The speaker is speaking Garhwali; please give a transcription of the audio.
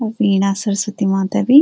और वीणा सरस्वती माता बि।